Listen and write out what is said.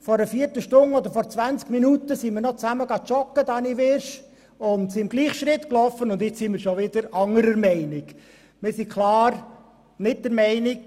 Vor einer Viertelstunde oder vor 20 Minuten waren Grossrat Wyrsch und ich zusammen joggen, und wir sind dabei im Gleichschritt gelaufen – jetzt sind wir bereits wieder anderer Meinung.